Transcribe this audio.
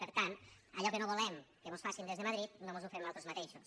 per tant allò que no volem que mos facin des de madrid no mos ho fem nosaltres mateixos